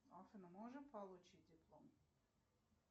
афина можем получить диплом